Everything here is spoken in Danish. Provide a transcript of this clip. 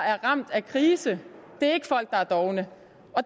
er ramt af krisen det er ikke folk der er dovne